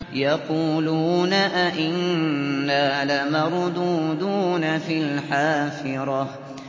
يَقُولُونَ أَإِنَّا لَمَرْدُودُونَ فِي الْحَافِرَةِ